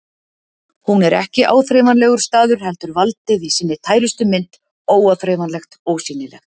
Hún er ekki áþreifanlegur staður heldur valdið í sinni tærustu mynd, óáþreifanlegt, ósýnilegt.